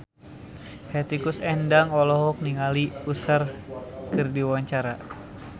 Hetty Koes Endang olohok ningali Usher keur diwawancara